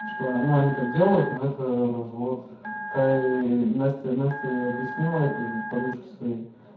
что ну они так делают но это развод та и настя настя ей объяснила этой подружке своей